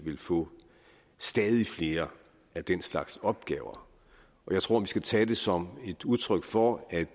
vil få stadig flere af den slags opgaver jeg tror vi skal tage det som et udtryk for at